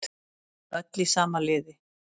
Öll í sama liði